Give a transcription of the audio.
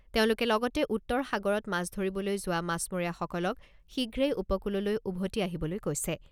তেওঁলোকে লগতে উত্তৰ সাগৰত মাছ ধৰিবলৈ যোৱা মাছমৰীয়াসকলক শীঘ্ৰেই উপকূললৈ উভতি আহিবলৈ কৈছে।